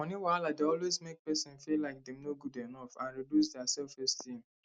money wahala dey always make person feel like dem no good enough and reduce dia selfesteem